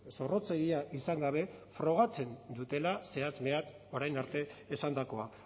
zorrotzegia izan gabe frogatzen dutela zehatz mehatz orain arte esandakoa